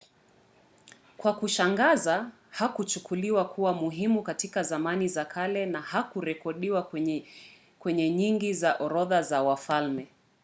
kwa kushangaza hakuchukuliwa kuwa muhimu katika zamani za kale na hakurekodiwa kwenye nyingi za orodha za wafalme